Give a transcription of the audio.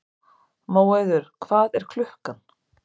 Móheiður, hvað er klukkan?